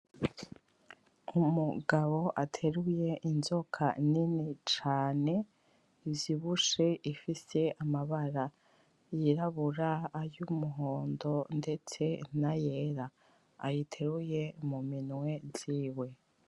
Umugabo ateruye Inzoka nini cane ivyibushe ifise amabara yirabura ay’umuhondo ndetse n’ayera ayiteruye muminwe ziwe .